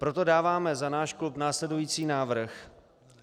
Proto dáváme za náš klub následující návrh.